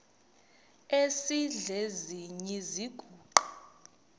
esidl eziny iziguqa